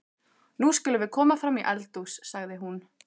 Nú skulum við koma fram í eldhús, sagði hún.